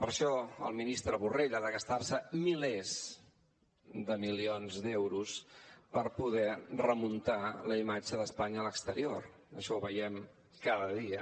per això el ministre borrell ha de gastar se milers de milions d’euros per poder remuntar la imatge d’espanya a l’exterior això ho veiem cada dia